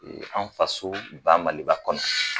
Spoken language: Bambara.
E an faso ba maliba kɔnɔ